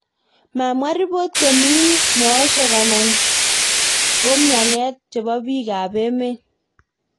Mamwaa ripot komii meoshrk anan koumyanet chepo piik ap emeet